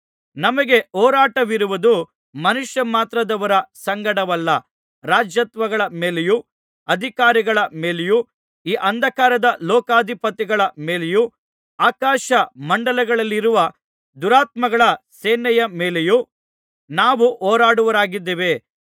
ನಮಗೆ ಹೋರಾಟವಿರುವುದು ಮನುಷ್ಯಮಾತ್ರದವರ ಸಂಗಡವಲ್ಲ ರಾಜತ್ವಗಳ ಮೇಲೆಯೂ ಅಧಿಕಾರಿಗಳ ಮೇಲೆಯೂ ಈ ಅಂಧಕಾರದ ಲೋಕಾಧಿಪತಿಗಳ ಮೇಲೆಯೂ ಆಕಾಶ ಮಂಡಲಗಳಲ್ಲಿರುವ ದುರಾತ್ಮಗಳ ಸೇನೆಯ ಮೇಲೆಯೂ ನಾವು ಹೋರಾಡುವವರಾಗಿದ್ದೇವೆ